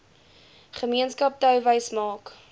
gemeenskap touwys maak